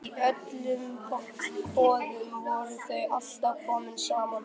Í öllum boðum voru þau alltaf komin saman.